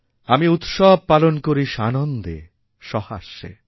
আমি উৎসব পালন করিসানন্দে সহাস্যে